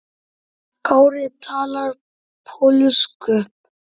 Kári talar pólsku.